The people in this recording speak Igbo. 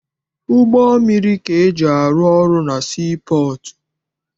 Ụgbọ mmiri ka eji arụ ọrụ na sii pọọtụ.